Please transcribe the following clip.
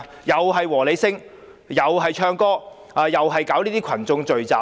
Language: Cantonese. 又是"和你 sing"， 又是唱歌，又是搞這些群眾聚集。